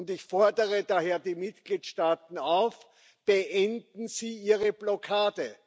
Ich fordere daher die Mitgliedstaaten auf Beenden Sie Ihre Blockade!